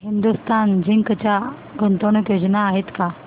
Hindustan Zinc च्या गुंतवणूक योजना आहेत का